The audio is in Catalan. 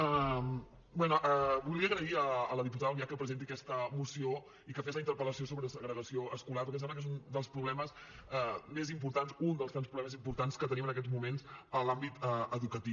bé volia agrair a la diputada albiach que presenti aquesta moció i que faci la interpel·lació sobre segregació escolar perquè em sembla que és un dels problemes més importants un dels tants problemes importants que tenim en aquest moments a l’àmbit educatiu